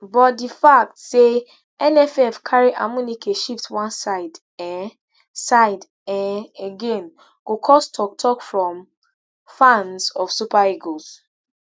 but di fact say nff carry amuneke shift one side um side um again go cause toktok from fans of super eagles